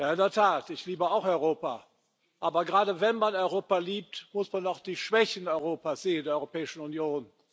In der Tat! Ich liebe Europa auch, aber gerade wenn man Europa liebt, muss man auch die Schwächen Europas sehen, der Europäischen Union.